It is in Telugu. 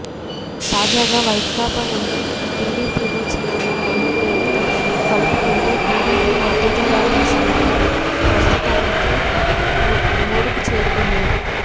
తాజాగా వైకాపా నుంచి టిడిపిలో చేరిన ఎమ్మెల్యేలతో కలుపుకుంటే టిడిపి మద్దతుదారుల సంఖ్య ప్రస్తుతానికి మూడుకు చేరుకుంది